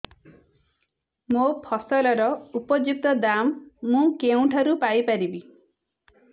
ମୋ ଫସଲର ଉପଯୁକ୍ତ ଦାମ୍ ମୁଁ କେଉଁଠାରୁ ପାଇ ପାରିବି